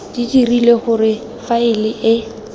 di dirile gore faele e